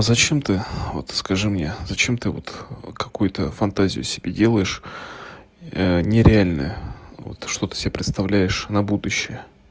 зачем ты вот скажи мне зачем ты вот какой-то фантазию себе делаешь нереальное что-то себе представляешь на будущее